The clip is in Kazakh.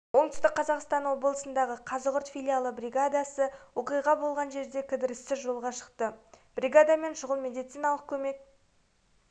оңтүстік қазақстан облысындағы казығұрт филиалы бригадасы оқиғасы болған жерге кідіріссіз жолға шықты бригадамен шұғыл медициналық көмек